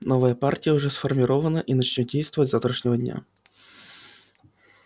новая партия уже сформирована и начнёт действовать с завтрашнего дня